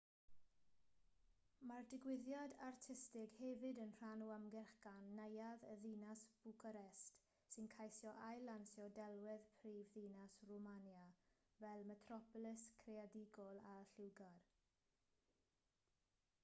mae'r digwyddiad artistig hefyd yn rhan o ymgyrch gan neuadd y ddinas bwcarést sy'n ceisio ail-lansio delwedd prifddinas rwmania fel metropolis creadigol a lliwgar